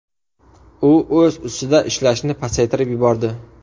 U o‘z ustida ishlashni pasaytirib yubordi.